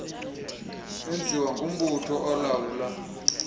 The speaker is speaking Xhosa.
senziwa ngumbutho olawula